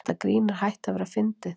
Þetta grín er hætt að vera fyndið.